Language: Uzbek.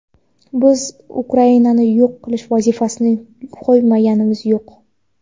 biz Ukrainani yo‘q qilish vazifasini qo‘yganimiz yo‘q.